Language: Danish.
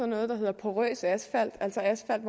noget der hedder porøs asfalt altså asfalt